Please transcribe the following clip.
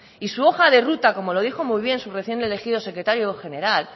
y su hoja de ruta como lo dijo muy bien su recién elegido secretario general